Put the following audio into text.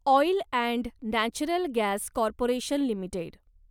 oil and natural gas corporation limited